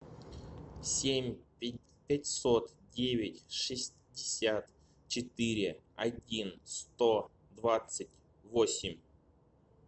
семь пятьсот девять шестьдесят четыре один сто двадцать восемь